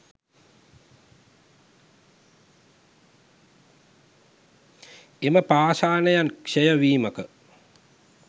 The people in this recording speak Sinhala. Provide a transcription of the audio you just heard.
එම පාෂණයන් ක්ෂය වීමක